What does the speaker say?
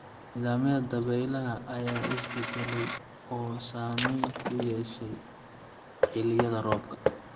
Nidaamyada dabaylaha ayaa isbedelay oo saameyn ku yeeshay xilliyada roobka.